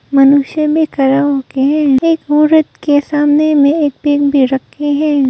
मनुष्य भी खड़ा हो के है। एक औरत के सामने में एक पेन भी रखे है।